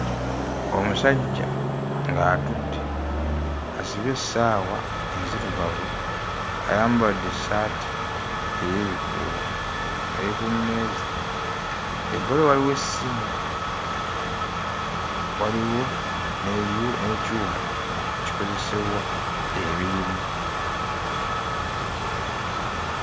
Omusajja ng'atudde asibye essaawa enzirugavu, ayambadde essaati ey'ebikuubo, ali ku mmeeza. Ebbali waliwo essimu. Waliwo n'ebyu n'ekyuma ekikozesebwa emirimu.